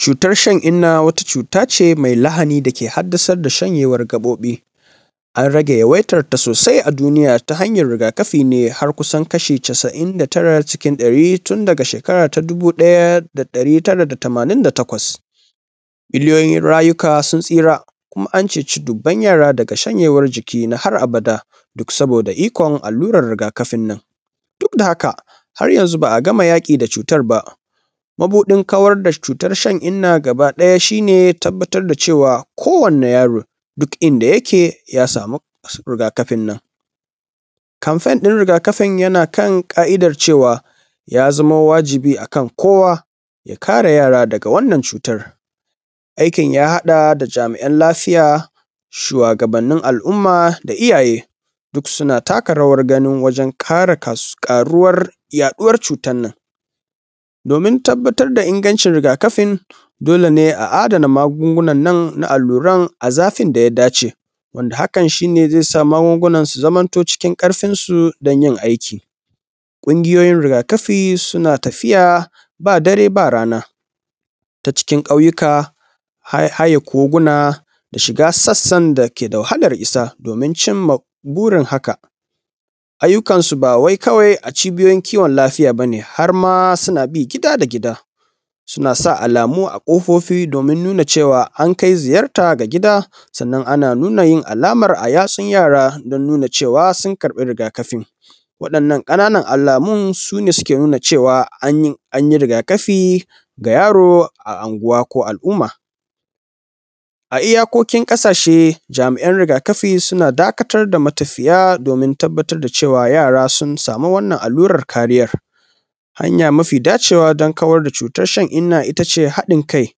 Cutar shan-inna wata cuta ce mai lahani da ke hadasar da shanyewan gaɓoɓi, an rage yawaitanta sosai a duniya ta hanyan rigakafi ne har kusan kaso casa’in daga cikin ɗari tun daga shekara ta dubu ɗaya da ɗari tara da tamanin da takwas. B illiyoyin rayuka sun tsira kuma an cece dubban yara daga shanyewan jiki na har abada duk saboda ikon alluran rigakafin nan duk da haka har yanzu ba a gama yaƙi da cutar ba, mabuɗin kawar da cutan shan-inna baga ɗaya shi ne tabbatar da cewa kowanne yaro duk inda yake ya samu rigakafin nan. Kanfanin rigafin yana kan ƙa’idan cewa ya zamo wajibi a kan kowa ya kare yara daga wannan cutan, aikin ya haɗa da jami’an lafiya shuwagabannin al’umma da iyaye duk suna takarawan gani wajen kare yaɗuwan cutan nan, domin tabbatar da ingancin rigakafin dole ne a adana magungunan nan na alluran da zafin da ya dace wanda haka shi ne ze sa magungunan su zamanto cikin ƙarfinsu don yin aiki ƙungiyoyin rigakafi suna tafiya ba dare ba rana ta cikin ƙauyuka har haye kogina da shiga sassan dake da wahalan shiga domin cin ma burin haka, ayyukan ba wai kawai a cibiyoyin kiwon lafiya ba ne kawai har a ma suna bi gida da gida suna sa alamu a ƙofofi domin nuna cewa an kai ziyarta da gida sannan ana nuna yin alamar a yatsun yara don nuna cewa sun karɓi rigakafi waɗannan alamun su ne suke nuna cewa any i rigakafi ga yaro a anguwa ko al’umma a iyakokin ƙasashe. Jami’an rigakafi suna dakatar da matafiya domin tabbatar da cewa yara sun samu wannan alluran kariyan. Hanya mafi dacewa don kawar da cutar shan-inna su ne haɗin kai,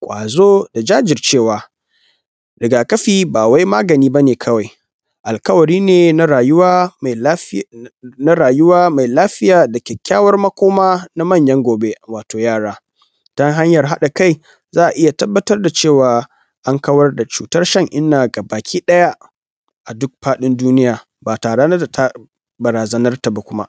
kwazo da jajircewa, rigakafi ba wai magani ba ne kawai alƙawari ne na rayuwa me lafiya na rayuwa mai lafiya makoma na manyan gobe wato yara dan hanyan haɗa kai za a iya tabbata da cewa an kawar da cuta shan-inna gabakiɗaya a duk faɗin duniya ba tare da barazanarta ba kuma.